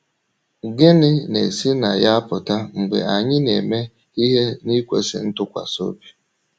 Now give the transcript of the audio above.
Gịnị na - esi na ya apụta mgbe anyị ‘ na - eme ihe n’ikwesị ntụkwasị obi ’?